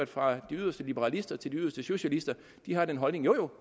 fra de yderste liberalister til de yderste socialister har den holdning jo jo